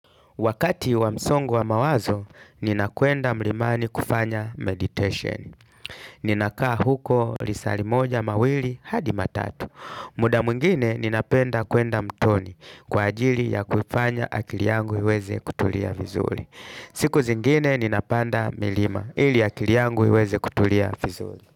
Wakati wa msongo wa mawazo, nina kwenda mlimani kufanya meditation. Ninakaa huko risali moja mawili hadi matatu. Muda mwingine, ninapenda kuenda mtoni kwa ajili ya kufanya akili yangu iweze kutulia vizuli. Siku zingine, ninapanda milima ili akili yangu iweze kutulia vizuli.